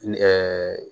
Ɛɛ